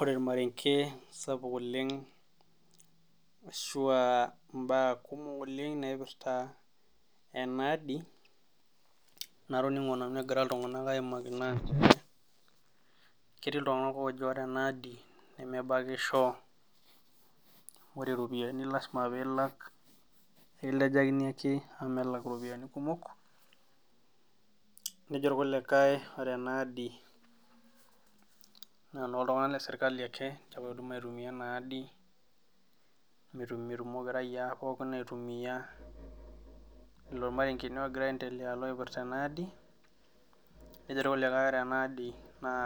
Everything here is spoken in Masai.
Ore ormarenge sapuk oleng ashua imbaa kumok naipirta ena aadi natoning'o nanu egira iltung'anak aaimaki naa ore ena adi nemebakisho ore ropiyiani ekilejakini ake nejo irkulikae ore ena aadi naa enooltung'anak le serkali ake oidim oitumiya ena aadi ilo irmarengeni oogira aendelea oipirta ena aadi nejo irkulikae ore ena aadi